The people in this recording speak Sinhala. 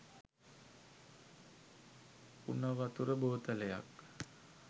උනවතුර බෝතලයක්